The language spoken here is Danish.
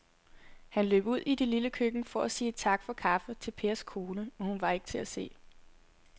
Han løb ud i det lille køkken for at sige tak for kaffe til Pers kone, men hun var ikke til at se.